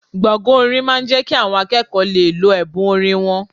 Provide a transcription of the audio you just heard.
Gbọ̀ngàn orin máa ń jẹ́ kí àwọn akẹ́kọ̀ọ́ lè lo ẹ̀bùn orin wọn